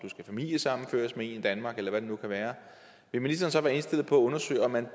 familiesammenført med en i danmark eller hvad det nu kan være vil ministeren så være indstillet på undersøge om man